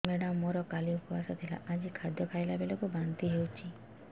madam ମୋର କାଲି ଉପବାସ ଥିଲା ଆଜି ଖାଦ୍ୟ ଖାଇଲା ବେଳକୁ ବାନ୍ତି ହେଊଛି